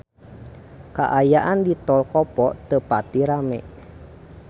Kaayaan di Tol Kopo teu pati rame